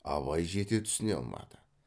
абай жете түсіне алмады